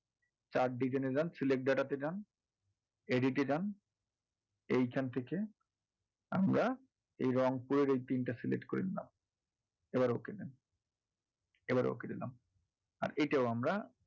chart design এ যান select data তে যান edit এ যান এইখান থেকে আমরা রংপুরের এই PIN টা select করে নেবো এবার okay দিলাম এটা আমরা,